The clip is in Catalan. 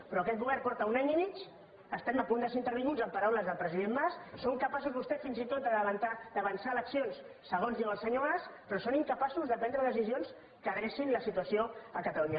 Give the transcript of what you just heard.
però aquest govern fa un any i mig que estem a punt de ser intervinguts en paraules del president mas són capaços vostès fins i tot d’avançar eleccions segons diu el senyor mas però són incapaços de prendre decisions que adrecin la situació a catalunya